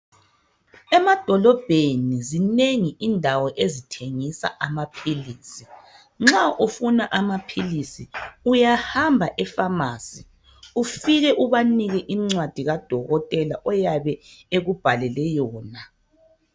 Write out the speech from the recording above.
Emadolobheni zinengi indawo ezithengisa amaphilisi. Nxa ufuna amaphilisi uyahamba ephamarcy ufike ubanike incwadi kadokotela oyabe ekubhalele yona